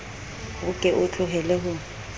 o ke o tlohele ho